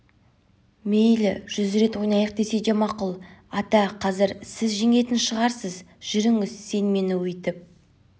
мейлі жүз рет ойнайық десе де мақұл ата қазір сіз жеңетін шығарсыз жүріңіз сен мені өйтіп